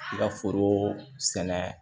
I ka foro sɛnɛ